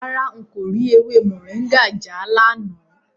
Rárá, n kò rí ewé Moringa já lánàá.